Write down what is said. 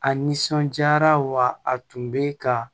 A nisɔnjaara wa a tun bɛ ka